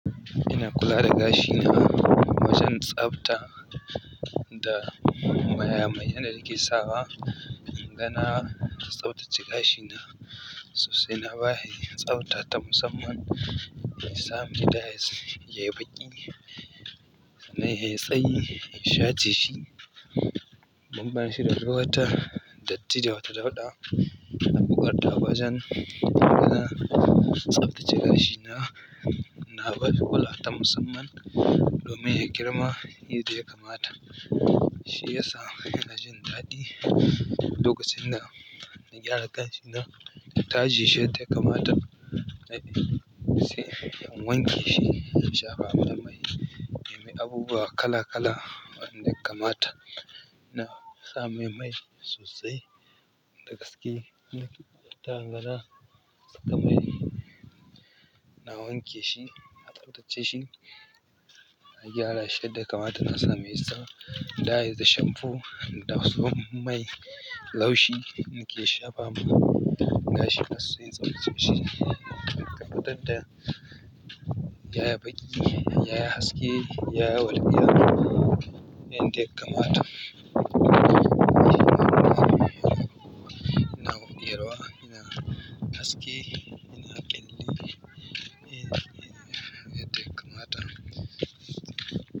Ina kula da gashi na, wajen tsafta da maya mayen danake sawa. Gana tsaftace gashi na sosai na ba shi tsafta ta musamman. Sami dayis yayi baƙi nan yayi tsayi shace shi. Ban ban shi da duk wata datti da wata dauɗa. Abubuwa da bazan iya yana tsaftace gashi na. Na bar kulata musamman domin ya girma. Abune da yakamata, shi yasa ina jin daɗi. Lokacin da na gyara gashin nan taje shi yadda yakamata. Sai in wanke shi, in shafa me mai. In nemi abubuwa kala kala wanda yakamata. Na sa mai mai sosai da gaske. Ta gana sakamai na wanke shi, na tsaftace shi. Na gyara shi yadda yakamata. Na sa masa da dayes da shamfu da kuma mai laushi. Nake shafa ma gashi na sosai sosai. Tabatadda yayi baƙi, yayi haske, yayi walƙiya. Yanda yakamata. Ina rera, ina haske, ina kindi. Yan da yakamata.